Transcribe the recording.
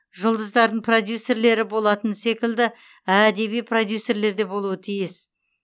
жұлдыздардың продюсерлері болатыны секілді әдеби продюсерлер де болуы тиіс